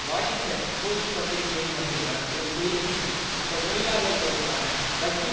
Washington Post பத்திரிகையில் வந்துள்ள ஒரு செய்தியின்படி அந்தத்தொழிலாளர்களுக்கான வக்கீல்